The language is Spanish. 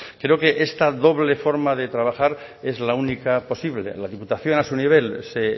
creo que esta doble forma de trabajar es la única posible la diputación a su nivel se